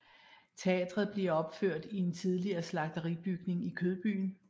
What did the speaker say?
Teatret bliver opført i en tidligere slagteribygning i Kødbyen